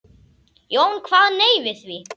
Jón kvað nei við því.